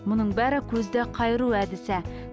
мұның бәрі көзді қайыру әдісі